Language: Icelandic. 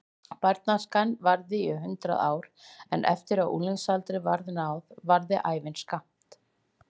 Barnæskan varði í hundrað ár en eftir að unglingsaldri var náð varði ævin skammt.